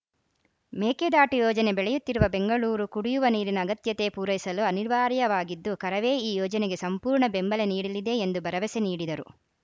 ಮೇಕೆದಾಟು ಯೋಜನೆ ಬೆಳೆಯುತ್ತಿರುವ ಬೆಂಗಳೂರಿ ಕುಡಿಯುವ ನೀರಿನ ಅಗತ್ಯತೆ ಪೂರೈಸಲು ಅನಿವಾರ್ಯವಾಗಿದ್ದು ಕರವೇ ಈ ಯೋಜನೆಗೆ ಸಂಪೂರ್ಣ ಬೆಂಬಲ ನೀಡಲಿದೆ ಎಂದು ಭರವಸೆ ನೀಡಿದರು